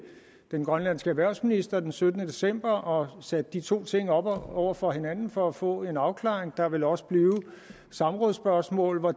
den grønlandske erhvervsminister den syttende december og sat de to ting op over for hinanden for at få en afklaring der vil også blive samrådsspørgsmål hvor